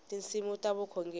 tinsimu ta vukhongeri